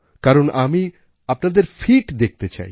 কারণ আমি আপনাদের ফিট দেখতে চাই